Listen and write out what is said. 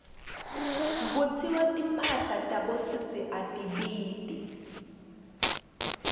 kutsiwa timphahla tabosesi atibiti